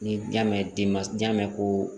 Ni y'a mɛn denba jan mɛn koo